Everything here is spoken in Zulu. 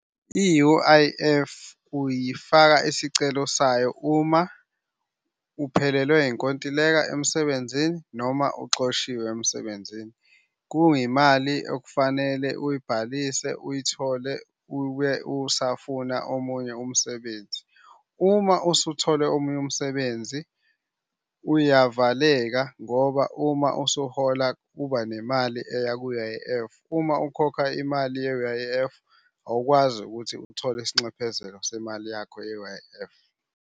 I-U_I_F uyifaka isicelo sayo uma uphelelwe inkontileka emsebenzini, noma uxoshiwe emsebenzini. Kuyimali okufanele uyibhalise uyithole ube usafuna omunye umsebenzi. Uma usuthole omunye umsebenzi uyavaleka ngoba uma usuhola kuba nemali eya ku-U_I_F. Uma ukhokha imali ye-U_I_F awukwaziukuthi uthole isinxephezelo semali yakho ye-U_I_F.